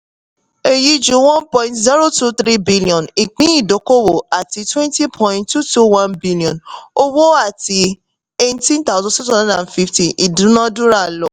èyí ju one point zero two three billion ìpín ìdókòwò àti twenty point two two one billion owó àti eighteen thousand six hundred and fifty ìdúnádúrà lọ